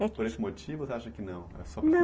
Mas por esse motivo, você acha que não? não,